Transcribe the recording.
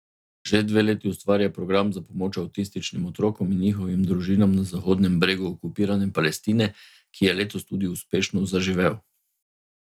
Že dve leti ustvarja program za pomoč avtističnim otrokom in njihovim družinam na Zahodnem bregu okupirane Palestine, ki je letos tudi uspešno zaživel.